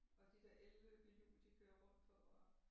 Og de der elløbehjul de kører rundt på og